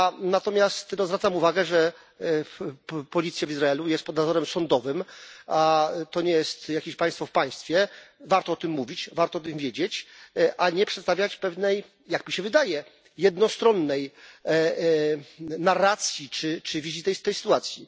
Natomiast zwracam uwagę, że policja w Izraelu jest pod nadzorem sądowym, to nie jest jakieś państwo w państwie. Warto o tym mówić, warto o tym wiedzieć, a nie przedstawiać pewnej jak mi się wydaje jednostronnej narracji czy wizji tej sytuacji.